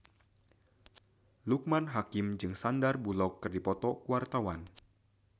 Loekman Hakim jeung Sandar Bullock keur dipoto ku wartawan